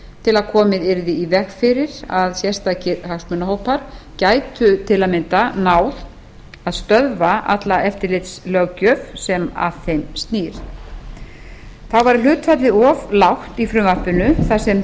til að komið yrði í veg fyrir að sérstakir hagsmunahópar gætu til að mynda náð að stöðva alla eftirlitslöggjöf sem að þeim snýr þá væri hlutfallið of lágt í frumvarpinu þar sem